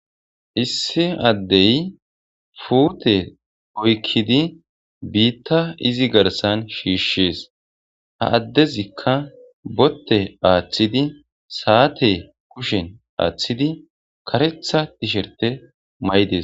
issi addey fuute oykkidi biitta izi garsan shiishshees ha addezikka botte aaththidi saate kushen aaththidi karetha tisherte may7des